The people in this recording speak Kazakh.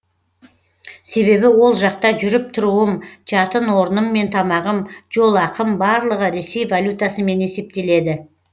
себебі ол жақта жүріп тұруым жатын орным мен тамағым жол ақым барлығы ресей валютасымен есептеледі